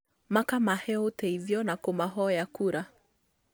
Makamahe ũteithio na kũmahoya kura